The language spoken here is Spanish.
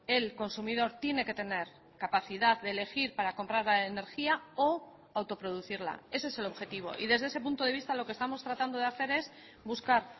el consumidor tiene que tener capacidad de elegirpara comprar la energía o auto producirla ese es el objetivo y desde ese punto de vista lo que estamos tratando de hacer es buscar